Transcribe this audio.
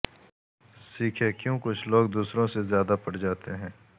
سیکھیں کیوں کچھ لوگ دوسروں سے زیادہ پٹ جاتے ہیں